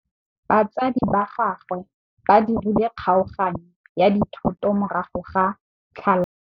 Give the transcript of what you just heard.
Batsadi ba gagwe ba dirile kgaoganyô ya dithoto morago ga tlhalanô.